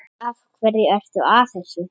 Af hverju ertu að þessu?